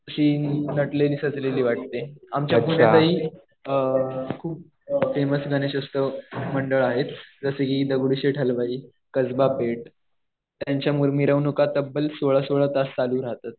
अशी नटलेली, सजलेली वाटते. आमच्या पुण्यातही खूप फेमस गणेश उत्सव मंडळ आहेत. जसं कि दगडूशेठ हलवाई, कसबा पेठ. त्यांच्या मिरवणूका तब्ब्ल सोळा-सोळा तास चालू राहतात.